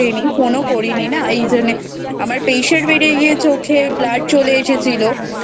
Phone ও করি নি না এইজন্যে আমার Pressure বেড়ে গিয়ে চোখে Blood চলে এসেছিলো।